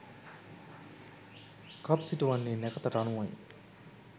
කප් සිටුවන්නේ නැකතට අනුවයි.